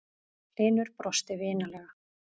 Hlynur brosti vinalega.